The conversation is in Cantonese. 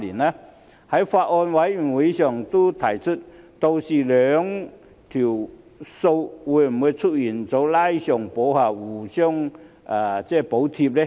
我在法案委員會上都提出，屆時兩項收費會否出現"拉上補下"、互相補貼呢？